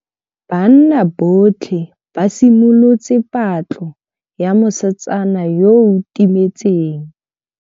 Banna botlhê ba simolotse patlô ya mosetsana yo o timetseng.